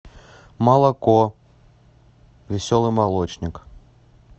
молоко веселый молочник